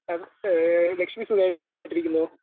A ഏഹ് ലക്ഷ്മി സുഖായിട്ടിരിക്കുന്നോ?